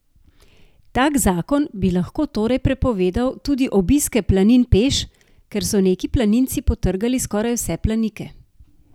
Tak zakon bi lahko torej prepovedal tudi obiske planin peš, ker so neki planinci potrgali skoraj vse planike.